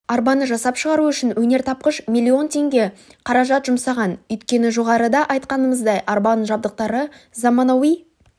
арбаны жасап шығару үшін өнертапқыш миллион теңге қаражат жұмсаған өйткені жоғарыда айтқанымыздай арбаның жабдықтары заманауи